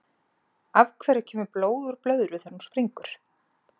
Af hverju kemur blóð úr blöðru þegar hún springur?